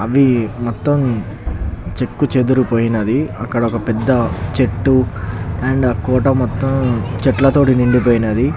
అది మొత్తం చెక్కు చేదిరిపోయినది అక్కడ ఒక పెద్ద చెట్టు అండ్ కోట మొత్తం చెట్లతోటి నిండిపోయినది.